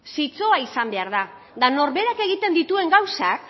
eta norberak egitne dituen gauzak